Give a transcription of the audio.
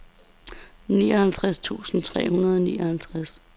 nioghalvtreds tusind tre hundrede og nioghalvtreds